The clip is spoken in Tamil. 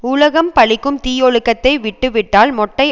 உலகம் பழிக்கும் தீயொழுக்கத்தை விட்டு விட்டால் மொட்டை